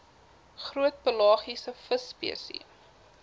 groot pelagiese visspesies